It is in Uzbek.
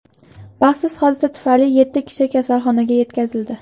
Baxtsiz hodisa tufayli yetti kishi kasalxonaga yetkazildi.